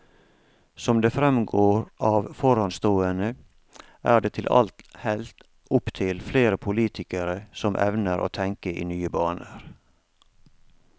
Som det fremgår av foranstående, er det til alt hell opptil flere politikere som evner å tenke i nye baner.